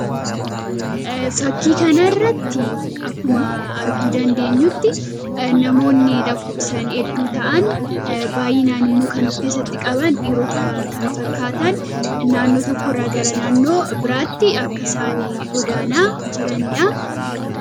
Fakkii kana irratti akkuma arguu dandeenyutti namooni lakkofsaan hedduu ta'an baay'inaan immoo kan of keessatti qabaan dhirota kan fakkaatan naannoo tokko irraa gara naannoo biraatti akka isaan godaanaa jiraanidha.